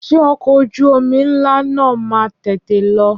Ṣé ọkọ̀ ojú omi ńlá náà máa tètè lọ?